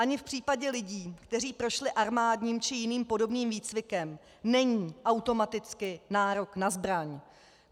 Ani v případě lidí, kteří prošli armádním či jiným podobným výcvikem, není automaticky nárok na zbraň.